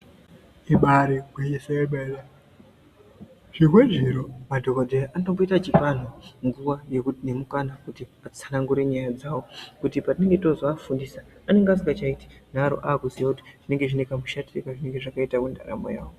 Ibari gwinyiso yemene zvimwe zviro madhogodheya anomboita achipa antu nguva nemukana kuti atsanangure nyaya dzavo. Kuti patinenge tozoafundisa anenge asingachaiti nharo akuziya kuti zvinenge zviine kamushatire kazvinenge zvakaita mundaramo yavo.